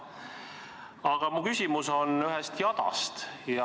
Aga mu küsimus on ühe jada kohta.